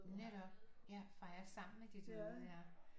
Netop ja fejrer sammen med de døde ja